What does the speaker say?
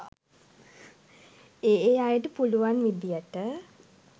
ඒ ඒ අයට පුළුවන් විදියට